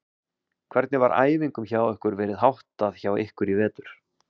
Hvernig var æfingum hjá ykkur verið háttað hjá ykkur í vetur?